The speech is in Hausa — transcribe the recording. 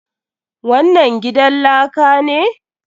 Wannan gidan laka ne?